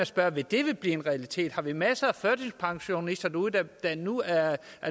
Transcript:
spørge vil det blive en realitet har vi masser af førtidspensionister derude der nu er